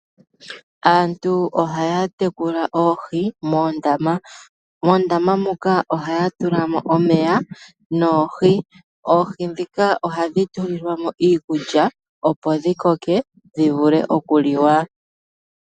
Aantu ohaya tekula oohi moondama. Moondama moka ohaya tulamo omeya, noohi. Oohi ndhika ohadhi tulilwamo iikulya, opo dhi koke, dho dhivule okuliwa.